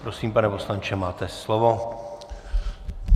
Prosím, pane poslanče, máte slovo.